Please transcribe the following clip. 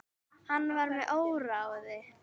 Hann var með óráði.